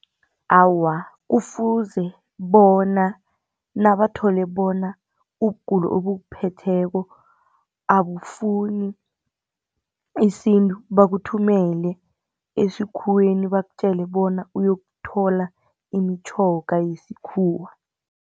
Awa, kufuze bona, nabathole bona ubugulo obukuphetheko abafuni isintu, bakuthumele esikhuweni, bakutjele bona uyokuthola imitjhoga yesikhuwa.